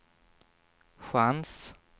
chans